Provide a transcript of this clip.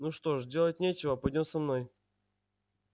ну что ж делать нечего пойдём со мной